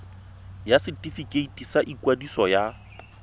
ya setefikeiti sa ikwadiso ya